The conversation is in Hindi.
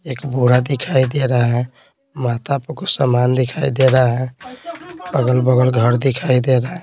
एक बूढ़ा दिखाई दे रहा है माता सामान दिखाई दे रहा है अगल-बगल घर दिखाई दे रहा--